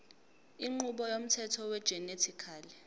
inqubo yomthetho wegenetically